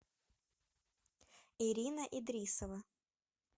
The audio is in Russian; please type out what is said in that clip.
ирина идрисова